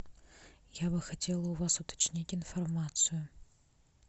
я бы хотела у вас уточнить информацию